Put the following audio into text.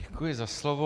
Děkuji za slovo.